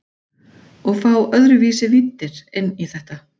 Og fá öðruvísi víddir inn í þetta.